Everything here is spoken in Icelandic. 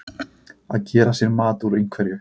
Að gera sér mat úr einhverju